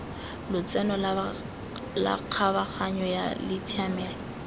lotseno la kgabaganyo la tshiamelo